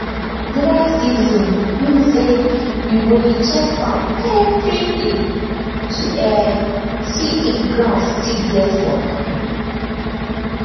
dry season mean say you go dey check farm every day to um see if ground still get water